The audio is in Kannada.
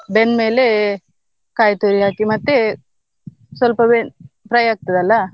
ಬೆಂದ್ಮೇಲೆ ಕಾಯ್ತುರಿ ಹಾಕಿ ಮತ್ತೆ ಸ್ವಲ್ಪ ಬೆಂದ್ fry ಆಗ್ತದಲಾ.